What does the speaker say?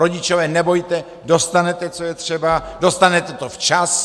Rodičové, nebojte, dostanete, co je třeba, dostanete to včas.